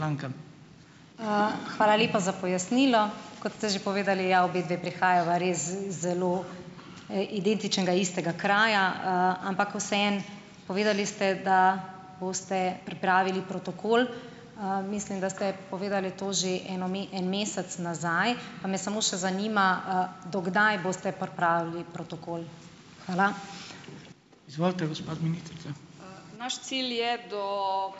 Hvala lepa za pojasnilo. Kot ste že povedali, ja, obedve prihajava res z zelo, identičnega, istega kraja, ampak vseeno, povedali ste, da boste pripravili protokol. Mislim, da ste povedali to že eno, en mesec nazaj, pa me samo še zanima, do kdaj boste pripravili protokol. Hvala.